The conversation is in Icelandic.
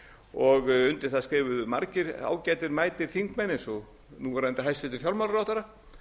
og undir það skrifuðu margir ágætir mætir þingmenn eins og núverandi hæstvirtum fjármálaráðherra